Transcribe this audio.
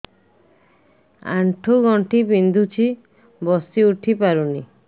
ଆଣ୍ଠୁ ଗଣ୍ଠି ବିନ୍ଧୁଛି ବସିଉଠି ପାରୁନି